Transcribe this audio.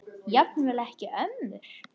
Jafnvel ekki ömmur.